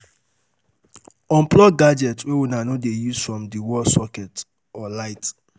Unplug gadgets wey una no dey use from di wall socket or light